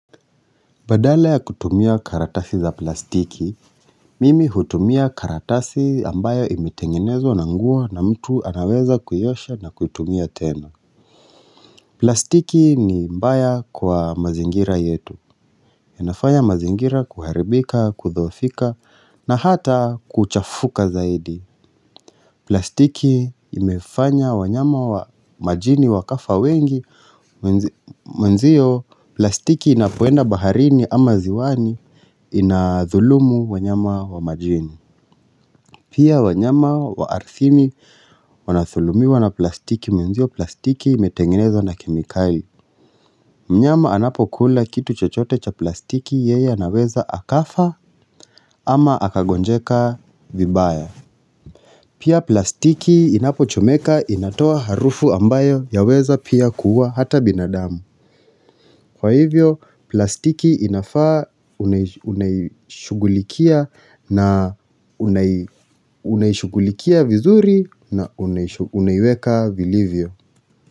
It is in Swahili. Badala ya kutumia karatasi za plastiki, mimi hutumia karatasi ambayo imetengenezwa na nguo na mtu anaweza kuiosha na kutumia tena. Plastiki ni mbaya kwa mazingira yetu. Inafanya mazingira kuharibika, kudhoofika na hata kuchafuka zaidi. Plastiki imefanya wanyama wa majini wakafa wengi. Mwenzio, plastiki inapoenda baharini ama ziwani. Inathulumu wanyama wa majini Pia wanyama wa arthini wanathulumiwa na plastiki Mwenzio plastiki imetengenezwa na kemikali Mnyama anapokula kitu chochote cha plastiki Yeye anaweza akafa ama akagonjeka vibaya Pia plastiki inapochomeka inatoa harufu ambayo Yaweza pia kuua hata binadamu Kwa hivyo plastiki inafaa unaishugulikia na unai unaishughulikia vizuri na unaiweka vilivyo.